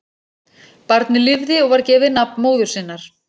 Barnið lifði og var gefið nafn móður sinnar.